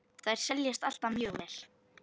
Þær seljast alltaf mjög vel.